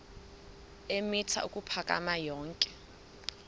eemitha ukuphakama yonke